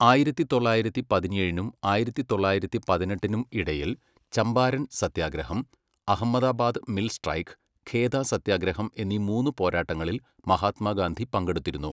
ആയിരത്തി തൊള്ളായിരത്തി പതിനേഴിനും ആയിരത്തി തൊള്ളായിരത്തി പതിനെട്ടിനും ഇടയിൽ ചമ്പാരൻ സത്യാഗ്രഹം, അഹമ്മദാബാദ് മിൽ സ്ട്രൈക്ക്, ഖേദ സത്യാഗ്രഹം എന്നീ മൂന്ന് പോരാട്ടങ്ങളിൽ മഹാത്മാഗാന്ധി പങ്കെടുത്തിരുന്നു.